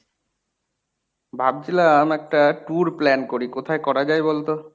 ভাবছিলাম একটা tour plan করি। কোথায় করা যায় বল তো?